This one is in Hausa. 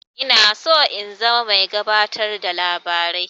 Ina son in zama mai gabatar da labari.